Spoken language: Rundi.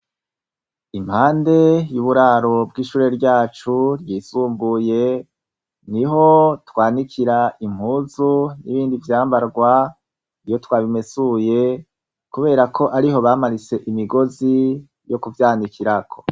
Impande y'uburaro bw'ishure ryacu ryisumbuye ni ho twanikira impuzu n'ibindi vyambarwa iyo twabimesuye, kubera ko ariho bamanitse imigozi yo kuvyanikirako.